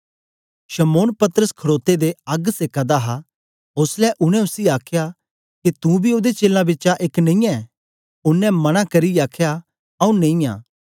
शमौन पतरस खडोते दे अग्ग सेका दा हा ओसलै उनै उसी आखया के तुं बी ओदे चेलां बिचा एक नेई ऐं ओनें मना करियै आखया आऊँ नेई आं